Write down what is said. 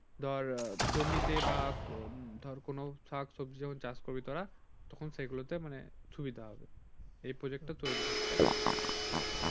ধর জমিতে বা ধর কোন শাক-সবজি যখন চাষ করবি তোরা তখন সেগুলোতে মানে সুবিধা হবে এই প্রজেক্টটা তৈরি করতে তাই না